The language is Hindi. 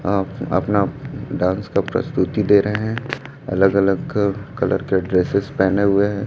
अप अपना डांस का प्रस्तुति दे रहे हैं अलग अलग कलर के ड्रेसेस पहने हुए हैं।